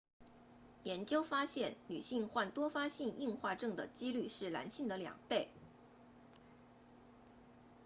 研究发现女性患多发性硬化症 ms 的几率是男性的两倍